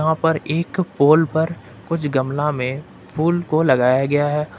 वहां एक पोल पर कुछ गमला में फूल को लगाया गया है।